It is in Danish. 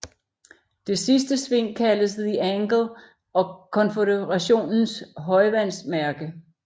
Det sidste sving kaldes The Angle og Konføderationens højvandsmærke